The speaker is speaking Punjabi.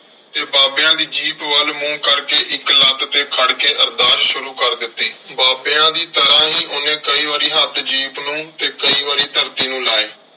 ਤੇ ਬਾਬਿਆਂ ਦੀ ਜੀਪ ਵੱਲ ਮੂੰਹ ਕਰਕੇ ਇੱਕ ਲੱਤ ਤੇ ਖੜ ਕੇ ਅਰਦਾਸ ਸ਼ੁਰੂ ਕਰ ਦਿੱਤੀ। ਬਾਬਿਆਂ ਦੀ ਤਰ੍ਹਾਂ ਹੀ ਉਹਨੇ ਕਈ ਵਾਰੀ ਹੱਥ ਜੀਪ ਨੂੰ ਤੇ ਕਈ ਵਾਰੀ ਧਰਤੀ ਨੂੰ ਲਾਏ।